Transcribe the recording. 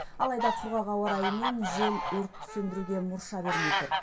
алайда құрғақ ауа райы мен жел өртті сөндіруге мұрша бермей тұр